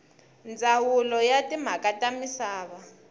ndzawulo ya timhaka ta misava